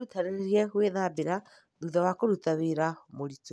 Wĩrutanĩrie gwĩthambĩra thutha wa kũruta wĩra mũritũ.